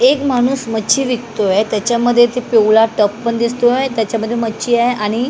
एक माणूस मच्छी विकतोय त्याच्यामध्ये ते पिवळा टब पण दिसतोय त्याच्यामध्ये मच्छी आहे आणि--